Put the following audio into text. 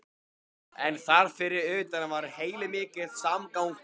En þar fyrir utan var heilmikill samgangur.